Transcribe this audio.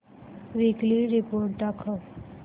weekly report दाखव